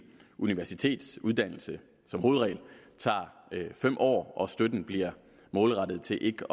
universitetsuddannelse som hovedregel tager fem år og støtten bliver målrettet til ikke